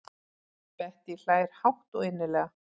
Bettý hlær hátt og innilega.